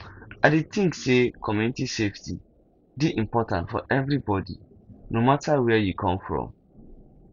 i dey think say community safety dey important for everybody no matter where you come from